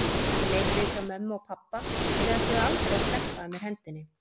Ég leit við hjá mömmu og pabba, þau ætluðu aldrei að sleppa af mér hendinni.